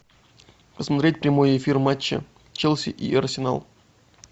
посмотреть прямой эфир матча челси и арсенал